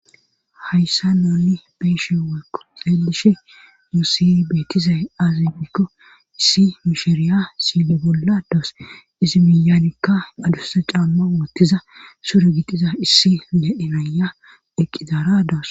hayssa nuni be'eshe weyko xeelishe nuusi betizay aaze gikko issi mishiriya sile bolla daysu izi miyanikka adussa caamma wottiza sure gixida issi le'e na'eya eqqidaara daysu